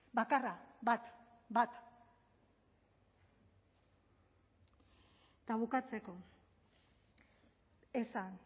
bakarra bat bat eta bukatzeko esan